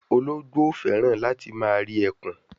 Ologbo o feran lati ma ri ekun